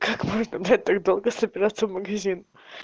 как можно блять так долго собираться в магазин